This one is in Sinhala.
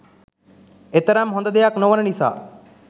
එතරම් හොඳ දෙයක් නොවන නිසා